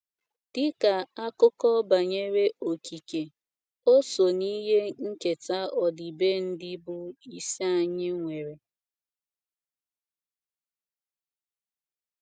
“ Dị ka akụkọ banyere okike, o so n’ihe nketa ọdịbendị bụ́ isi anyị nwere.